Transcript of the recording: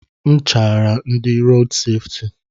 A chaara m ndị rood sefti.